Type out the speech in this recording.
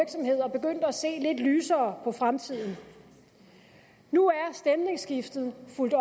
se lidt lysere på fremtiden nu er stemningsskiftet fulgt